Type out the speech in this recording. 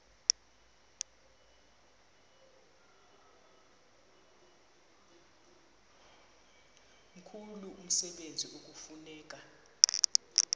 mkhulu umsebenzi ekufuneka